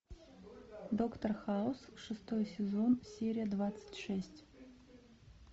доктор хаус шестой сезон серия двадцать шесть